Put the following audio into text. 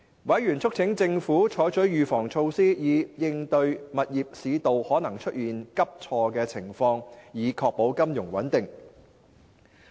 委員促請政府採取預防措施，以應對物業市道可能出現急挫的情況，以確保金融穩定。